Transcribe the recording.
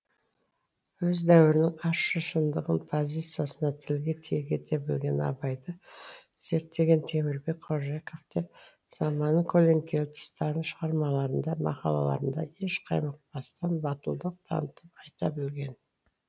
өз дәуірінің ащы шындығын позициясында тілге тиек ете білген абайды зерттеген темірбек қожакеев те заманының көлеңкелі тұстарын шығармаларында мақалаларында еш қаймықпастан батылдық танытып айта білген